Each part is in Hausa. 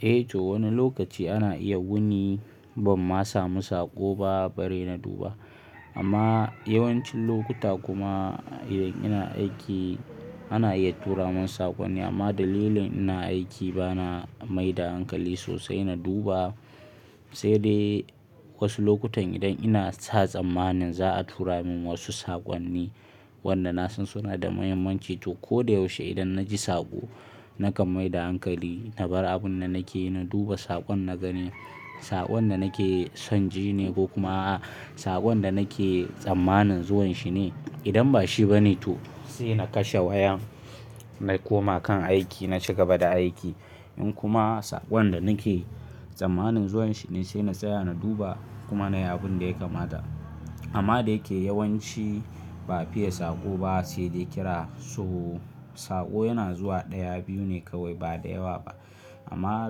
Eh toh wani lokaci ana iya wuni bamma samu saƙo ba bari na duba amma yawancin lokuta kuma idan ina aiki ana iya tura mun saƙonni amma dalilin ina aiki bana mai da hankali sosai na duba sai dai wasu lokutan idan ina sa zamanin za a tura min wasu saƙonni wanda na san suna da muhimmanci to ko da yaushe idan na ji saƙo na kan mai da hankali na bar abun da nake yi na duba saƙon na gani saƙon da nake son ji ne ko kuma a'a saƙon da nake tsammanin zuwan shi ne idan ba shi ba ne to sai na kashe wayan na koma kan aiki na ci gaba da aiki in kuma saƙon da nake tsammanin zuwan shi ne sai na tsaya na duba kuma na yi abun da ya kamata amma da yake yawanci ba fi iya saƙo ba sai dai kira so saƙo yana zuwa ɗaya biyu ne kawai ba da yawa ba amma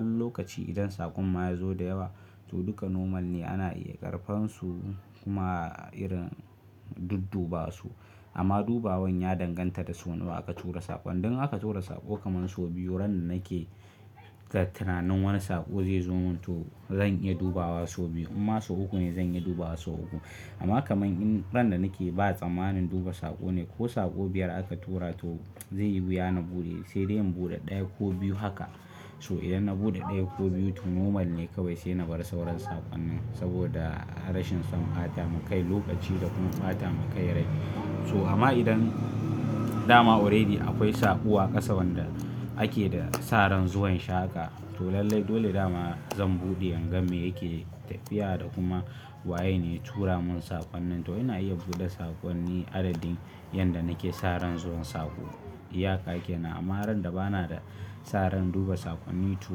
lokaci idan saƙon ma ya zo da yawa to duka normal ne ana iya ƙarbansu kuma irin duddubawarsu amma dubawan ya danganta da sau nawa aka tura saƙon idan aka tura saƙo kaman so biyu ran da nake da tunanin wani saƙo zai zo mun to zan iya dubawa so biyu in ma so uku ne zan iya dubawa so uku amma kaman in ran da nake ba tsammanin duba saƙo ne ko saƙo biyar aka tura to zan yi wuya na buɗe, sai dai in buɗe ɗaya ko biyu haka so idan na buɗe ɗaya ko biyu to normal ne kawai sai na bar sauran saƙonnin saboda rashin son ɓata makai lokaci da kuma ɓata makai rai so amma idan dama already akwai saƙo a ƙasa wanda ake da saran zuwan shi haka to lallai dole dama zan buɗe in ga me yake tafiya da kuma waye ne tura mun saƙonnin to ina iya buɗe saƙonni adadin in da nake san rai zuwa sako, iyaka kenan, amma ran da bana sa ran duba saƙonni to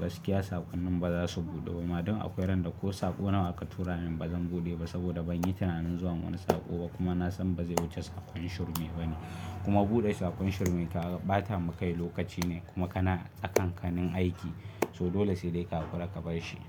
gaskiya saƙonnin ba za su buɗe ba ma idan akwai ran da ko saƙo nawa aka tura min bazan buɗe ba saboda ban yi tunanin zuwa wani saƙo ba kuma na san bazai wuce saƙon shirme ba ne kuma bude sakon shirme ta bata makai lokaci ne kuma kana sa kanka ne aiki, so dole sai dai ka hankura ka barshi.